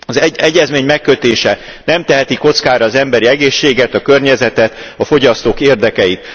Az egyezmény megkötése nem teheti kockára az emberi egészséget, a környezetet, a fogyasztók érdekeit.